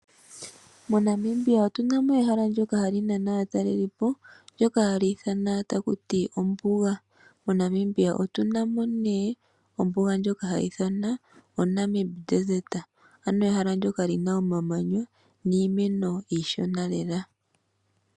MoNamibia otu na mo ehala ndjoka hali nana aatalelipo, ndyoka hali ithanwa taku ti ombuga. MoNamibia otu na mo ne ombuga ndjoka ha yi ithanwa o Namib Desert. Ano ehala ndjoka li na omamanya niimeno iishona lela.